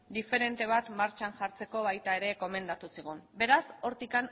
diferente bat martxan jartzeko baita ere gomendatu zigun beraz hortik